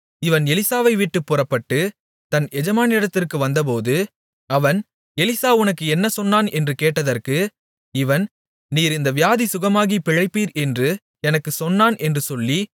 இவன் எலிசாவைவிட்டுப் புறப்பட்டு தன் எஜமானிடத்திற்கு வந்தபோது அவன் எலிசா உனக்கு என்ன சொன்னான் என்று கேட்டதற்கு இவன் நீர் இந்த வியாதி சுகமாகிப் பிழைப்பீர் என்று எனக்குச் சொன்னான் என்று சொல்லி